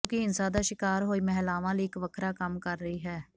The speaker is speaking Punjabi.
ਜੋ ਕਿ ਹਿੰਸਾ ਦਾ ਸ਼ਿਕਾਰ ਹੋਈ ਮਹਿਲਾਵਾਂ ਲਈ ਇਕ ਵੱਖਰਾ ਕੰਮ ਕਰ ਰਹੀ ਹੈ